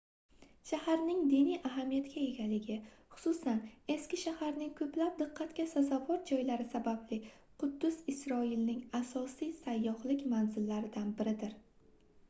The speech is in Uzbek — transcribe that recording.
shaharning diniy ahamiyatga egaligi xususan eski shaharning koʻplab diqqatga sazovor joylari sababli quddus isroilning asosiy sayyohlik manzillaridan biridir